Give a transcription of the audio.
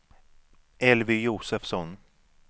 Elvy Josefsson